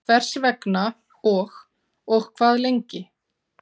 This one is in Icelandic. Hvers vegna og og hvað lengi?